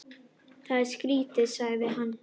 Það er skrýtið sagði hann.